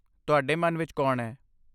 ਤੁਹਾਡੇ ਮਨ ਵਿੱਚ ਕੌਣ ਹੈ?